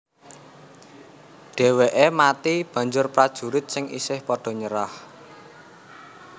Dhèwèké mati banjur prajurit sing isih padha nyerah